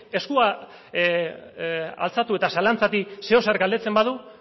eskua altxatu eta zalantzatik zeozer galdetzen badu